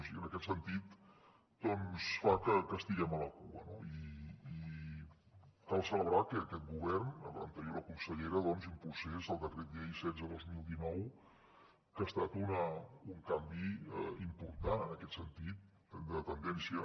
i en aquest sentit fa que estiguem a la cua no i cal celebrar que aquest govern l’anterior consellera impulsés el decret llei setze dos mil dinou que ha estat un canvi important en aquest sentit de tendència